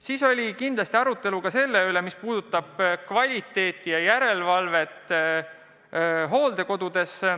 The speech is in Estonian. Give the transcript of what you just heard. Meil oli arutelu ka selle üle, mis puudutab kvaliteeti ja järelevalvet hooldekodudes.